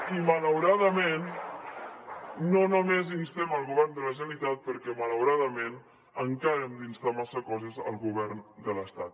i malauradament no només instem el govern de la generalitat perquè malauradament encara hem d’instar massa coses al govern de l’estat